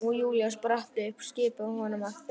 Og Júlía spratt upp, skipaði honum að þegja.